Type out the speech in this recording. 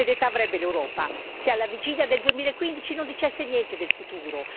Che serietà avrebbe l'Europa se alla vigilia del 2015 non dicesse niente del futuro?